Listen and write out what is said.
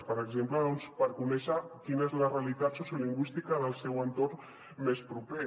per exemple per conèixer quina és la realitat sociolingüística del seu entorn més proper